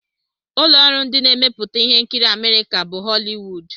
Ụlọ ọrụ ndị na-emepụta ihe nkiri Amerịka bụ Họliwud.